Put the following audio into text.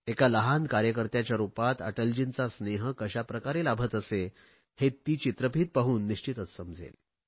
एका लहान कार्यकर्त्याच्या रुपात अटलजींचा स्नेह कशाप्रकारे लाभत असे हे ती चित्रफीत पाहून निश्चितच समजेल